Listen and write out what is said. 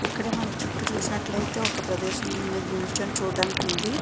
ఇక్కడ మనం చుట్టూ చూసినట్లైతే ఒక ప్రదేశం మీద నించొని చుడానికి ఐతే ఉంది .